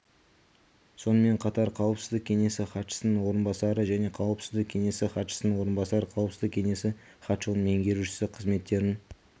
сонымен қатар қауіпсіздік кеңесі хатшысының орынбасары және қауіпсіздік кеңесі хатшысының орынбасары қауіпсіздік кеңесі хатшылығының меңгерушісі қызметтерін